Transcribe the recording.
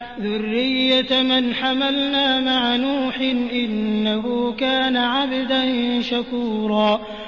ذُرِّيَّةَ مَنْ حَمَلْنَا مَعَ نُوحٍ ۚ إِنَّهُ كَانَ عَبْدًا شَكُورًا